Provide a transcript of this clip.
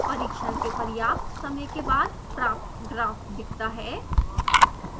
परीक्षण के पर्याप्त समय के बाद प्राप्त ग्राफ दिखता है